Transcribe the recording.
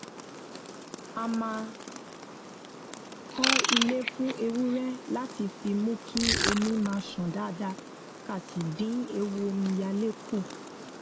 a máa kó ilé fún ewúré láti fi mú kí omi máa ṣàn dáadáa ká sì dín ewu omíyalé kù